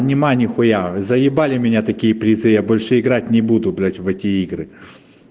внимание х з меня такие предчувствия больше играть не буду гулять в эти игры